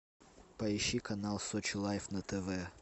поищи канал сочи лайв на тв